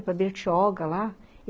Para Bertioga, lá.